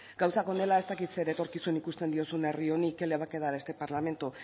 gauzak honela ez dakit zer etorkizun ikusten diozun herri qué le va a quedar a este parlamento